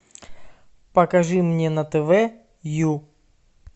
покажи мне на тв ю